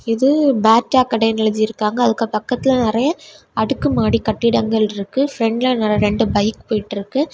இது பாட்டா கடென்னு எழுதி இருக்காங்க அதுக்கு பக்கத்துல நெறைய அடுக்கு மாடி கட்டிடங்கள் இருக்கு பிரண்ட்ல ரெண்டு பைக் போயிட்டு இருக்கு.